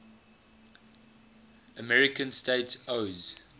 american states oas